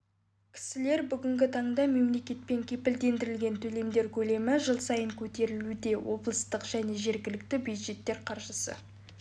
кісілер бүгінгі таңда мемлекетпен кепілдендірілген төлемдер көлемі жыл сайын көтерілуде облыстық және жергілікті бюджеттер қаржысы